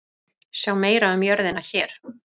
Sjá meira um jörðina hér.